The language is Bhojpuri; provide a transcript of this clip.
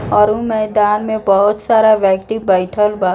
और ऊ मैदान में बहुत सारा व्यक्ति बैठल बा।